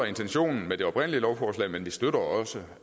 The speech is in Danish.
intentionen med det oprindelige lovforslag men vi støtter også